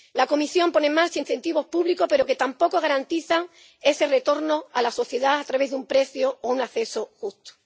La Comisión pone en marcha incentivos públicos, pero que tampoco garantizan ese retorno a la sociedad a través de un precio o un acceso justo.